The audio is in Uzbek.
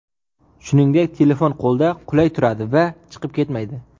Shuningdek, telefon qo‘lda qulay turadi va chiqib ketmaydi.